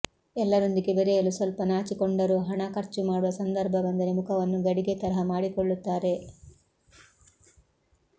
ಎಲ್ಲರೊಂದಿಗೆ ಬೆರೆಯಲು ಸ್ವಲ್ಪ ನಾಚಿಕೊಂಡರೂ ಹಣ ಖರ್ಚು ಮಾಡುವ ಸಂದರ್ಭ ಬಂದರೆ ಮುಖವನ್ನು ಗಡಿಗೆ ತರಹ ಮಾಡಿಕೊಳ್ಳುತ್ತಾರೆ